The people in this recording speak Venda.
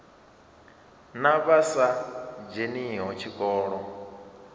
na vha sa dzheniho tshikolo